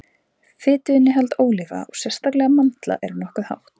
fituinnihald ólíva og sérstaklega mandla er nokkuð hátt